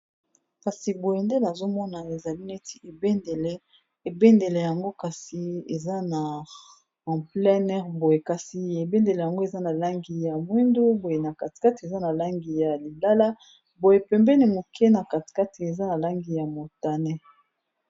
Bendele oyo eza bendele ya mboka Belgique eza na balangi ya mosaka, moindo na motane.